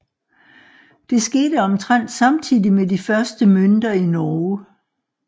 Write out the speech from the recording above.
Det skete omtrent samtidig med de første mønter i Norge